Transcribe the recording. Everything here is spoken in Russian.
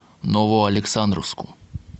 новоалександровску